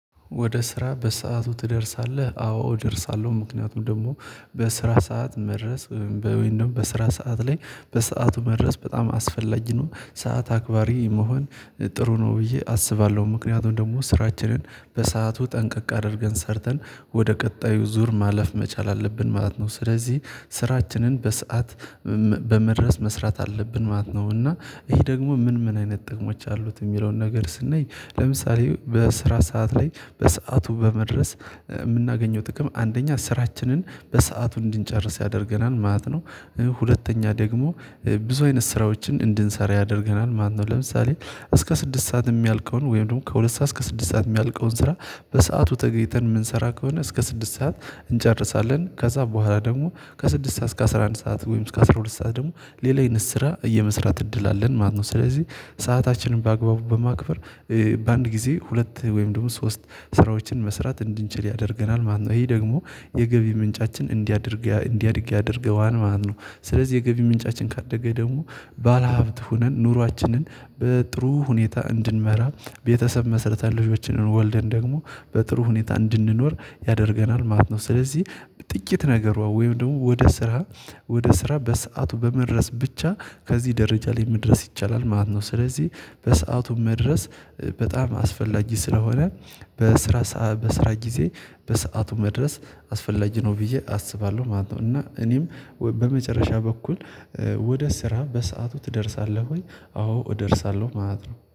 ወደ ስራ በሰአቱ ትደርሳለህ? አዎ እደርሳለሁ ምክንያቱም ደግሞ በስራ ሰዓት መድረስ በወይንም ስራ ሰዓት ላይ በሰአቱ መድረስ በጣም አስፈላጊ ነው። ሰዓት አክባሪ መሆን ጥሩ ነው ብዬ አስባለሁ። ምክንያቱም ደግሞ ስራችንን በሰአቱ ጠንቀቅ አድርገን ሰርተን ወደ ቀጣዩ ዙር ማለፍ መቻል አለብን ማለት ነው። ስለዚህ ስራችንን በሰአት በመድረስ መስራት አለብን ማለት ነው። እና ይሄ ደግሞ ምን ምን አይነት ጥቅሞች አሉት። የሚለውን ነገር ስናይ ለምሳሌ በስራ ሰዓት ላይ በሰአቱ በመድረስ የምናገኘው ጥቅም አንደኛ ስራችንን በሰአቱ እንድንጨርስ ያደርገናል ማለት ነው። ሁለተኛ ደግሞ ብዙ አይነት ስራዎችን እንድንሰራ ያደርገናል። ማነው ለምሳሌ እስከ ስድስት ሰዓት የሚያልቀውን ወይም ደግሞ ከሁለት ሰዓት እስከ ስድስት ሰዓት የሚያልቀውን ስራ በሰአቱ ተገኝተን የምንሰራ ከሆነ እስከ ስድስት ሰዓት እንጨርሳለን ከዛ በኋላ ደግሞ ከስድስት ሰዓት እስከ አስራ አንድ ሰዓት ወይም እስከ አስራ ሁለት ሰዓት ደግሞ ሌላ አይነት ስራ እየመስራት እድል አለን ማለት ነው። ስለዚህ ሰአታችንን በአግባቡ በማክበር በአንድ ጊዜ ሁለት ወይም ደግሞ ሶስት ስራዎችን መስራት እንድንችል ያደርገናል ማለት ነው። ይሄ ደግሞ የገቢ ምንጫችን እንዲያድግ ያደርገዋል ማለት ነው። ስለዚህ የገቢ ምንጫችን ካደገ ደግሞ ባለሀብት ሆነን ኑሯችንን በጥሩ ሁኔታ እንድንመራ ቤተሰብ መሰረታዊ ልጆችን ወልደን ደግሞ በጥሩ ሁኔታ እንድንኖር ያደርገናል ማለት ነው። ስለዚህ ጥቂት ነገሯ ወይም ደግሞ ወደ ስራ ወደ ስራ በሰአቱ በመድረስ ብቻ ከዚህ ደረጃ ላይ መድረስ ይቻላል ማለት ነው። ስለዚህ በሰአቱ መድረስ በጣም አስፈላጊ ስለሆነ በስራ በስራ ጊዜ በሰአቱ መድረስ አስፈላጊ ነው ብዬ አስባለሁ ማለት ነው። እና እኔም በመጨረሻ በኩል ወደ ስራ በሰአቱ ትደርሳለህ ወይ? አዎ እደርሳለሁ ማለት ነው